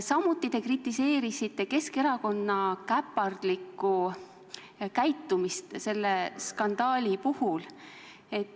Samuti kritiseerisite te Keskerakonna käpardlikku käitumist selle skandaali puhul.